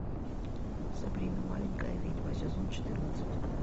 сабрина маленькая ведьма сезон четырнадцать